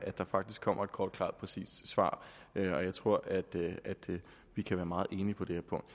der faktisk kommer et kort klart og præcist svar jeg tror at vi kan være meget enige på det her punkt